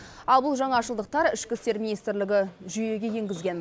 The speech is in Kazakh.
ал бұл жаңашылдықтар ішкі істер министрлігі жүйеге енгізген